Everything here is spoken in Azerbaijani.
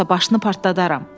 yoxsa başını partladaram.